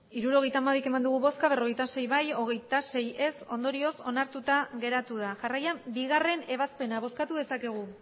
hirurogeita hamabi bai berrogeita sei ez hogeita sei ondorioz onartuta geratu da jarraian bigarrena ebazpena bozkatu dezakegu